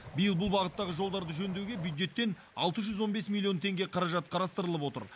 биыл бұл бағыттағы жолдарды жөндеуге бюджеттен алты жүз он бес миллион теңге қаражат қарастырылып отыр